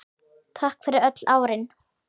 Takk fyrir öll árin.